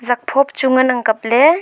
zaakphot chu ngan ang kapley .